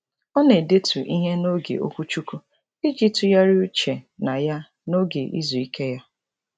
Ọ na-edetu ihe n'oge okwuchukwu iji tụgharị uche na ya n'oge izu ike ya.